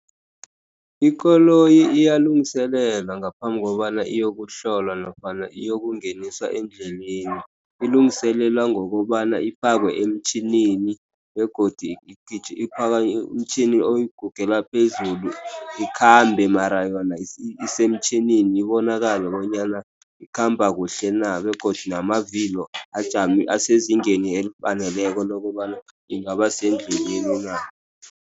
Ikoloyi iyalungiselelwa ngaphambi kobana iyokuhlolwa nofana iyokungeniswa endleleni. Ilungiselelwa ngokobana ifakwe emtjhinini begodu umtjhini oyigugela phezulu, ikhambe mara yona isemtjhinini ibonakale bonyana ikhamba kuhle na. Begodu namavilo ajame asezingeni elifaneleko lokobana ingaba sendleleni na.